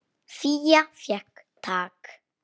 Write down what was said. Fía fékk tak.